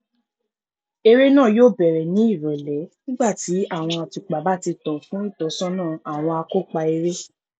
eré náà yóò bẹrẹ ní ìrọlẹ nígbà tí àwọn àtùpà báti tàn fún ìtọsọnà àwọn akópa eré